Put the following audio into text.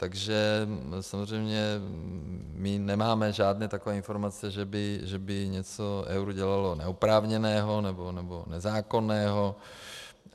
Takže samozřejmě my nemáme žádné takové informace, že by něco ERÚ dělalo neoprávněného nebo nezákonného.